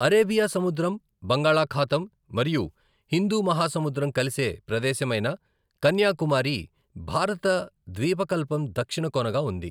Arabia సముద్రం, బంగాళాఖాతం మరియు హిందూ మహాసముద్రం కలిసే ప్రదేశమైన కన్యాకుమారి భారత ద్వీపకల్పం దక్షిణ కొనగా ఉంది.